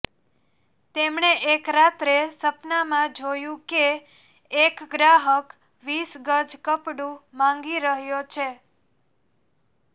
તેમણે એક રાત્રે સપનામાં જોયુ કે એક ગ્રાહક વીસ ગજ કપડું માંગી રહ્યો છે